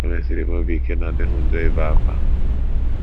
O mesiri m obi ike na ọ dịghị njọ ibe ákwá.